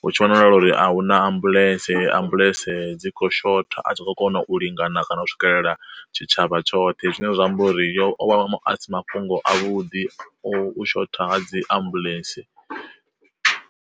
hu tshi wanala uri ahuna ambuḽentse, ambuḽentse dzi kho shotha a tshi kho kona u lingana kana u swikelela tshi tshavha tshoṱhe, zwine zwa amba uri yo o vha asi mafhungo a vhuḓi o shotha nga dziambulentse.